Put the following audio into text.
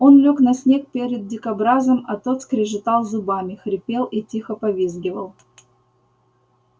он лёг на снег перед дикобразом а тот скрежетал зубами хрипел и тихо повизгивал